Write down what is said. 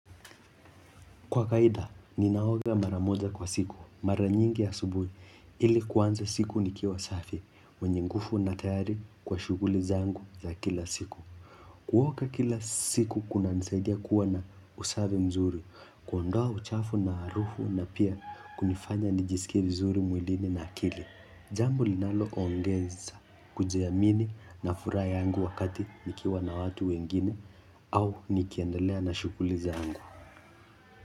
Kwa kawaida, ninaoga mara moja kwa siku, mara nyingi asubuhi, ili kuanza siku nikiwa safi, mwenye nguvu na tayari kwa shughuli zangu za kila siku. Kuoga kila siku, kunanisaidia kuwa na usafi mzuri, kuondoa uchafu na harufu na pia kunifanya nijisikie vizuri mwilini na akili. Jambo linalo ongeza, kujiamini na furaha yangu wakati nikiwa na watu wengine, au nikiendelea na shughuli zangu.